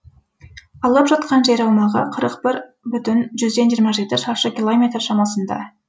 алып жатқан жер аумағы қырық бір бүтін жүзден жиырма жеті шаршы километр шамасында